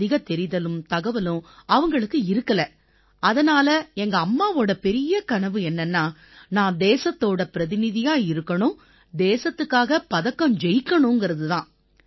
அதிக தெரிதலும் தகவலும் அவங்களுக்கு இருக்கலை அதனால எங்கம்மாவோட பெரிய கனவு என்னன்னா நான் தேசத்தோட பிரதிநிதியா இருக்கணும் தேசத்துக்காக பதக்கம் ஜெயிக்கணுங்கறது தான்